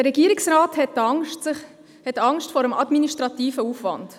– Der Regierungsrat hat Angst vor dem administrativen Aufwand.